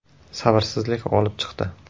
Sabrsizlik g‘olib chiqdi.